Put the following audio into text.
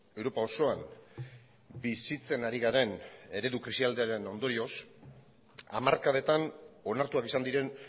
europa osoan bizitzen ari garen eredu krisialdiaren ondorioz hamarkadetan onartuak izan diren